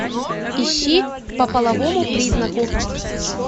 ищи по половому признаку